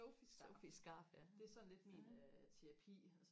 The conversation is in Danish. Sophies skarf det er sådan lidt min terapi